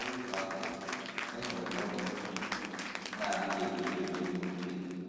N’otu akụkụ, e nwere nwoke na - adịghị emekebe ihe ike.